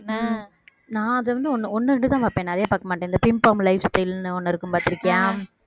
நான் அதை வந்து ஒண்ணு இரண்டுதான் பார்ப்பேன் நிறைய பார்க்க மாட்டேன் இந்த life style ன்னு ஒண்ணு இருக்கும் பார்த்திருக்கியா